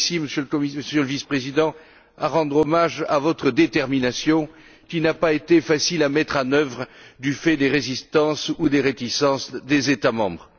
Je tiens ici, Monsieur le Vice président, à rendre hommage à votre détermination, qui n'a pas été facile à mettre en œuvre, du fait des résistances ou des réticences des États membres.